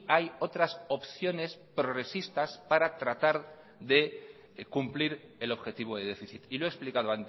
hay otras opciones progresistas para tratar de cumplir el objetivo de déficit y lo he explicado